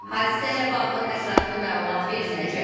Hadisə ilə bağlı ətraflı məlumat veriləcək.